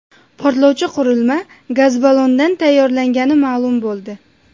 Portlovchi qurilma gaz ballondan tayyorlangani ma’lum bo‘ldi.